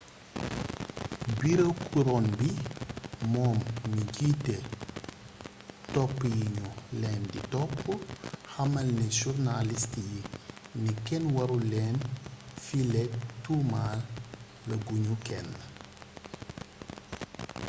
bureau couronne bi moom mi jiite topp yi ñu leen di topp xamal na journaliste yi ni kenn warul lenn fileek tuumal a guñu kenn